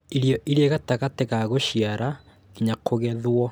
Irio irĩ gatagatĩ ga cuciara nginya kũgethwo